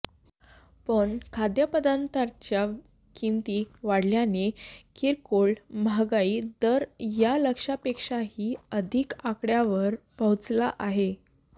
पण खाद्यपदार्थांच्या किमती वाढल्याने किरकोळ महागाई दर या लक्ष्यापेक्षाही अधिक आकडय़ावर पोहोचला आहे